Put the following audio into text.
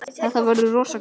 Þetta verður rosa gaman.